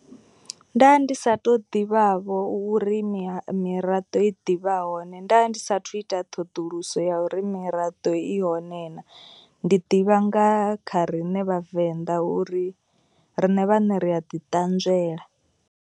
Nda ndi sa tou ḓivhavho uri miraḓo i ḓivha hone. Nda ndi sathu ita ṱhoḓuluso ya uri miraḓo i hone naa. Ndi ḓivha nga kha riṋe vhavenḓa uri riṋe vhaṋe ri a ḓi ṱanzwela.